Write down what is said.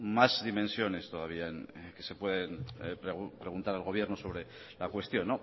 más dimensiones todavía que se pueden preguntar al gobierno sobre la cuestión